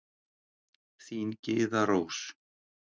Þín Gyða Rós.